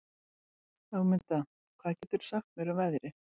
Ögmunda, hvað geturðu sagt mér um veðrið?